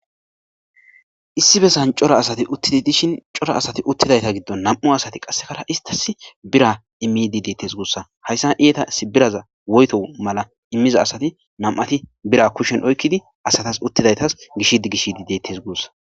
issi bessan cora asati uttidi dishin cora asati uttidayta giddon nam7u asati qassekara istas bira immidi deettes guussa hayssa eeta s biraza woyto mala immiza asati nam7ati bira kushshen oykkidi asatas uttidaytas gish gishdideettes guussa